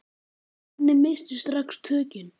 Gunni missti strax tökin.